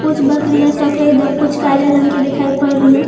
कुछ बकरियां सफेद और कुछ काले रंग के दिखाई पड़ रही है।